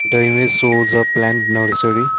the image shows a plant nursery.